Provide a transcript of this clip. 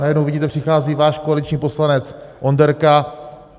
Najednou vidíte, přichází váš koaliční poslanec Onderka.